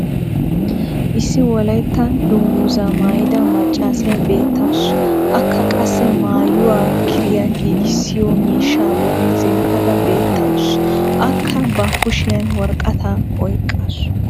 issi wolaytta danguzzaa mayida macaassiya beetawusu. akka qassi maayuwa kiriya giiggissiyo miishshaa boli zemppada betawusu. akka ba kushshiyan woraqataa oyqaasu.